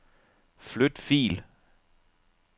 Flyt fil.